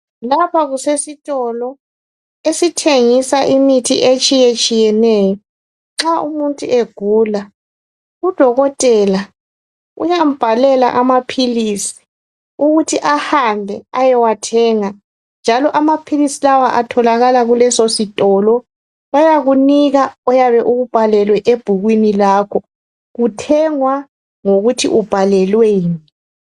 Lapha kusesitolo esithengisa imithi etshiyetshiyeneyo. Nxa umuntu egula udokotela uyambhalela amaphilisi ukuthi ahambe ayewathenga. Njalo maphilisi lawa atholakala kuleso sitolo. Bayakunika okuyabe kubhalwe ebhukwini lakho, kuthengwa ngokuthi ubhalelweni.